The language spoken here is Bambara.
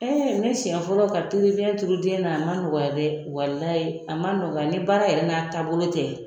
ne siɲɛ fɔlɔ ka pikiri biyɛn turu den na ,a man nɔgɔya dɛ , walayi a ma nɔgɔya ye dɛ ni baara yɛrɛ n'a taabolo tɛ